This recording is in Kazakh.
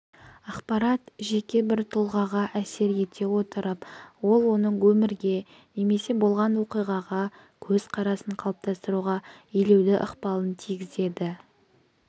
ақпарат жеке бір тұлғаға әсер ете отырып ол оның өмірге немесе болған оқиғаға көзқарасын қалыптастыруға елеулі ықпалын тигізеді